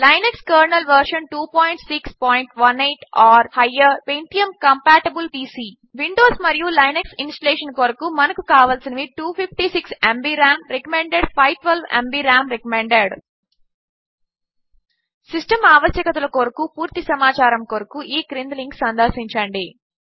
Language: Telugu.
Linux kernel version 2618 or higher pentium compatible PC Windows మరియు లినక్స్ ఇన్స్టలేషన్ కొరకు మనకు కావలసినవి 256 ఎంబీ రామ్ సిస్టమ్ ఆవశ్యకతల కొరకు పూర్తి సమాచారము కొరకు ఈ క్రింది లింక్ సందర్శించండి